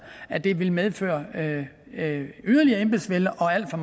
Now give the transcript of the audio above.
at det vil medføre yderligere embedsvælde og alt for